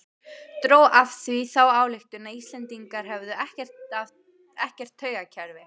Dró af því þá ályktun að Íslendingar hefðu ekkert taugakerfi.